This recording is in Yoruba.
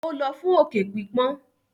Ó lọ fún òkè pípọ́n.